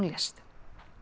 lést